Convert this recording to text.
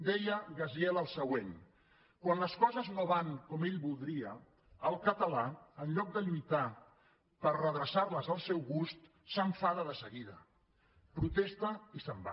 deia gaziel el següent quan les coses no van com ell voldria el català en lloc de lluitar per redreçar les al seu gust s’enfada de seguida protesta i se’n va